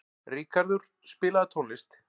Ríkarður, spilaðu tónlist.